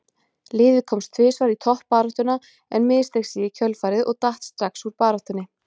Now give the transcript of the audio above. Liðið komst tvisvar í toppbaráttuna en missteig sig í kjölfarið og datt strax úr baráttunni.